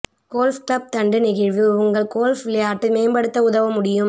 golf club தண்டு நெகிழ்வு உங்கள் கோல்ஃப் விளையாட்டு மேம்படுத்த உதவ முடியும்